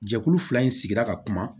Jɛkulu fila in sigira ka kuma